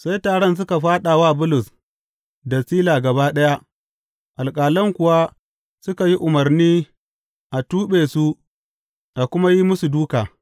Sai taron suka fāɗa wa Bulus da Sila gaba ɗaya, alƙalan kuwa suka yi umarni a tuɓe su a kuma yi musu dūka.